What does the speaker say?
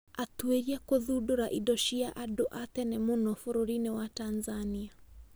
Atuĩria kũthundũra indo cia andũ a tene mũno bũrũri-inĩ wa Tanzania